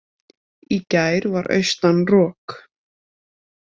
Í gær var austan rok.